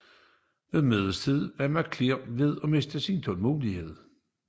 Ved middagstid var McClellan ved at miste tålmodigheden